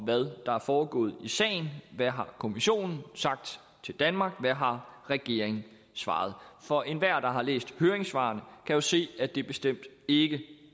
hvad der er foregået i sagen hvad har kommissionen sagt til danmark hvad har regeringen svaret for enhver der har læst høringssvaret kan jo se at det bestemt ikke